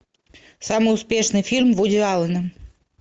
самый успешный фильм вуди аллена